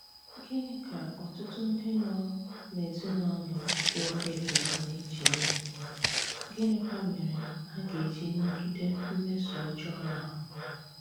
Gìnị ka ọtụtụ ndị nọ n’èzìnàlụ̀ kéwàrà èkéwà na-eche ìhù, gínịkwà mèré hà gà-èjì nàgìdè mmèsò ọ́jọọ àhụ̀?